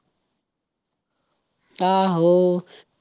ਆਹੋ।